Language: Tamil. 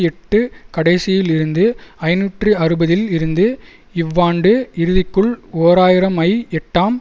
எட்டு கடைசியில் இருந்து ஐநூற்று அறுபதில் இருந்து இவ்வாண்டு இறுதிக்குள் ஓர் ஆயிரம் ஐ எட்டாம்